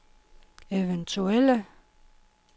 eventuelle